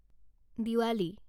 Diwali